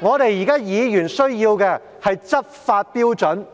我們議員現在需要的是執法標準。